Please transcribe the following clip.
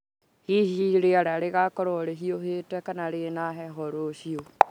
hihi rĩera rĩgakorwo rĩhiũhĩte kana rĩna heho rũciũ